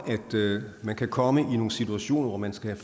at man kan komme i nogle situationer hvor man skal